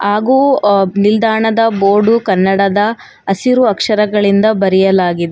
ಹಾಗು ಅ ನಿಲ್ದಾಣದ ಬೋರ್ಡು ಕನ್ನಡದ ಹಸಿರು ಅಕ್ಷರಗಳಿಂದ ಬರೆಯಲಾಗಿ--